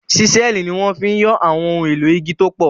Ṣísẹ́ẹ̀lì ni wọ́n fi ń yọ àwọn ohun èlò igi tó pọ̀